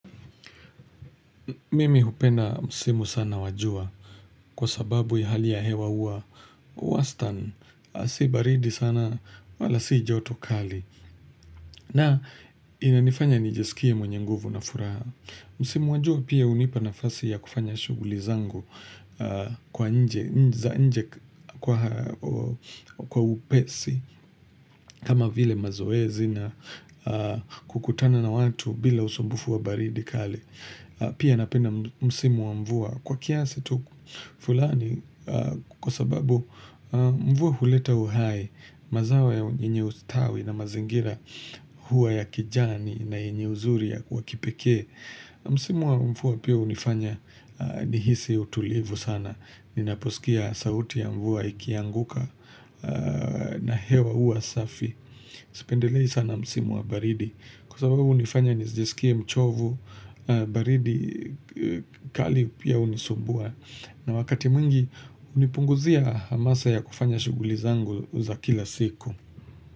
Mimi hupenda msimu sana wa jua kwa sababu ya hali ya hewa uwa. Wastan si baridi sana wala si joto kali. Na inanifanya nijisikie mwenye nguvu na furaha. Msimu wajua pia unipa na fasi ya kufanya shuguli zangu kwa nje. Za nje kwa upesi kama vile mazoezi na kukutana na watu bila usumbufu wa baridi kali. Pia napenda msimu wa mvua. Kwa kiasi tu fulani kwa sababu mvua huleta uhai mazawa yenye ustawi na mazingira huwa ya kijani na yenye uzuri ya kwa kipekee. Msimu wa mvua pia unifanya nihisi utulivu sana. Ninaposikia sauti ya mvua ikianguka na hewa huwa safi. Sipendelei sana msimu wa baridi Kwa sababu unifanya nizjesikia mchovu baridi kali pia unisumbua na wakati mwingi Unipunguzia hamasa ya kufanya shuguli zangu za kila siku.